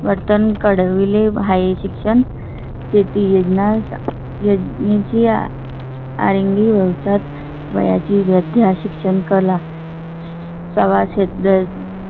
परिवर्तन कळविले आहे. शिक्षण, शेती, योजना यांच्या सारंगी वेळात वयाची वैद्य शिक्षण, कला प्रवासात